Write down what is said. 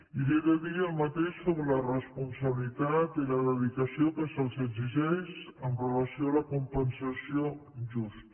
i li he de dir el mateix sobre la responsabilitat i la dedicació que se’ls exigeix amb relació a la compensació justa